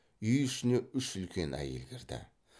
үй ішіне үш үлкен әйел кірді